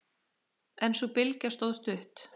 En sú bylgja stóð stutt.